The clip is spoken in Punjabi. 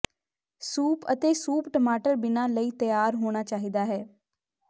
ਸੂਪ ਅਤੇ ਸੂਪ ਟਮਾਟਰ ਬਿਨਾ ਲਈ ਤਿਆਰ ਹੋਣਾ ਚਾਹੀਦਾ ਹੈ